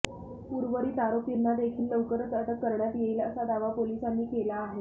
उर्वरित आरोपींना देखील लवकरच अटक करण्यात येईल असा दावा पोलिसांनी केला आहे